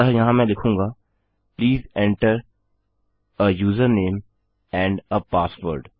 अतः यहाँ मैं लिखूँगा please enter uh user name and uh password